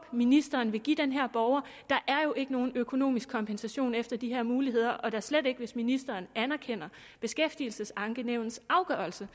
ministeren vil give den her borger der er jo ikke nogen økonomisk kompensation efter de her muligheder og da slet ikke hvis ministeren anerkender beskæftigelsesankenævnets afgørelse